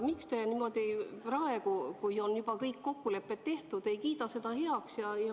Miks te praegu, kui on juba kõik kokkulepped tehtud, ei kiida seda heaks?